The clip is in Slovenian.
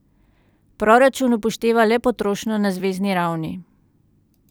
Proračun upošteva le potrošnjo na zvezni ravni.